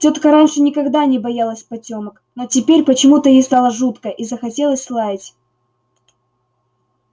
тётка раньше никогда не боялась потёмок но теперь почему-то ей стало жутко и захотелось лаять